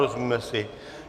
Rozumíme si?